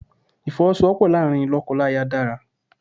Ìfowọ́sowọ́pọ̀ láàárín lọ́kọláya dára.